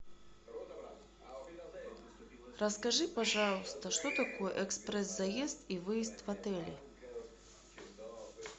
расскажи пожалуйста что такое экспресс заезд и выезд в отеле